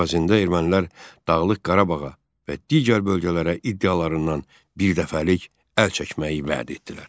Əvəzində ermənilər Dağlıq Qarabağa və digər bölgələrə iddialarından birdəfəlik əl çəkməyi vəd etdilər.